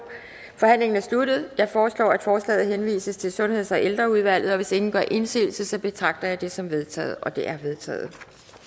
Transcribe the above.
forhandlingen er sluttet jeg foreslår at forslaget henvises til sundheds og ældreudvalget og hvis ingen gør indsigelse betragter jeg det som vedtaget det er vedtaget